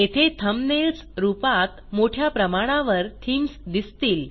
येथे थंबनेल्स रूपात मोठ्या प्रमाणावर थीम्स दिसतील